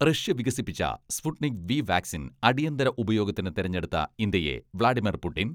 Russia വികസിപ്പിച്ച Sputnik V vaccine അടിയന്തര ഉപയോഗത്തിന് തെരഞ്ഞെടുത്ത ഇന്ത്യയെ വ്ലാഡിമർ പുടിൻ